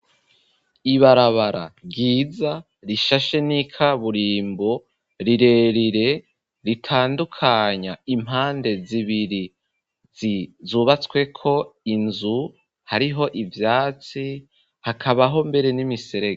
Ibarabara ryiza rishashe n'ikaburimbo rirerire ritandukanya impande zibiri zizubatsweko inzu hariho ivyatsi hakabaho mbere n'imiserege.